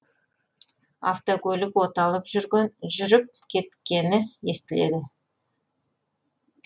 автокөлік оталып жүріп кеткені естіледі